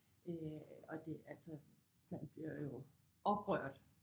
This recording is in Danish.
Øh og det altså man bliver jo oprørt